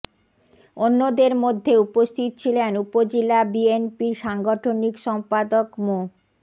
অন্যদের মধ্যে উপস্থিত ছিলেন উপজেলা বিএনপির সাংগঠনিক সম্পাদক মো